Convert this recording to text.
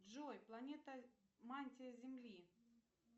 джой планета мантия земли